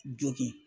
Jogin